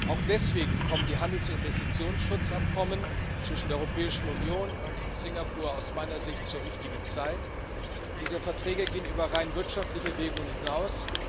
Auch deswegen kommen die Handels und Investitionsschutzabkommen zwischen der Europäischen Union und Singapur aus meiner Sicht zur richtigen Zeit. Diese Verträge gehen über rein wirtschaftliche Erwägungen hinaus.